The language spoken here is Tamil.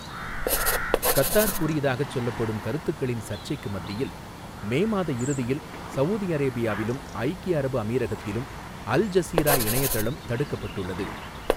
கத்தார் கூறியதாகச் சொல்லப்படும் கருத்துக்களின் சர்ச்சைக்கு மத்தியில், மே மாத இறுதியில் சவூதி அரேபியாவிலும் ஐக்கிய அரபு அமீரகத்திலும் அல் ஜஸீரா இணையதளம் தடுக்கப்பட்டுள்ளது.